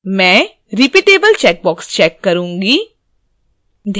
मैं repeatable checkbox check करुँगी